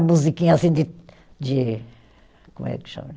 Musiquinha assim de, de, como é que chama